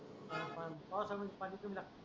पा पा पावसाळ्यात पाणी कमी लागत.